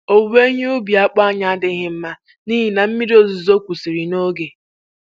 Owuwe ihe ubi akpụ anyị adịghị mma n'ihi na mmiri ozuzo kwụsịrị n'oge.